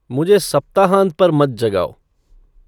मुझे सप्ताहांत पर मत जगाओ